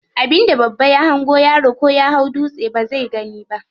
Abin da babba ya hango yaro ko ya hau dutse bazai gani ba.